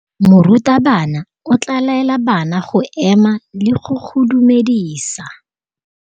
Morutabana o tla laela bana go ema le go go dumedisa.